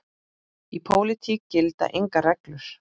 Í pólitík gilda engar reglur.